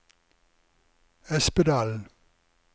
Espedalen